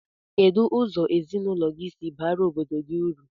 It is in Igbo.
Kedu ụzọ ezinụlọ gi si bara obodo gi uru?